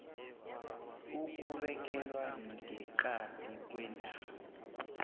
ukubekelwa ngeqadi kwendawo